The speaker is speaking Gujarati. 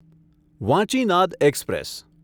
વાંચીનાદ એક્સપ્રેસ